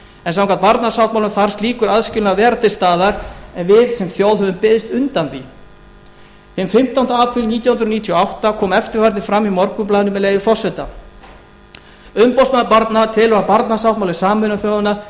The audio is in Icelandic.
en samkvæmt barnasáttmála þarf slíkur aðskilnaður að vera til staðar en við sem þjóð höfum beðist undan því hinn fimmtánda apríl nítján hundruð níutíu og átta kom eftirfarandi fram í morgunblaðinu með leyfi forseta umboðsmaður barna telur að barnasáttmáli sameinuðu þjóðanna